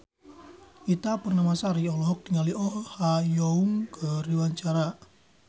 Ita Purnamasari olohok ningali Oh Ha Young keur diwawancara